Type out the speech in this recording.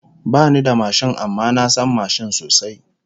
Bani da mashin amma na san mashin sosai